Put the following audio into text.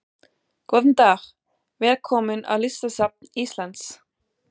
Góðan dag. Velkomin á Listasafn Íslands.